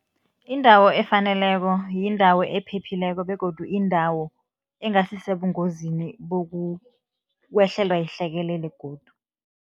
Indawo efaneleko, yindawo ephephileko begodu indawo engasisebungozini bokukwehlelwa yihlekelele godu.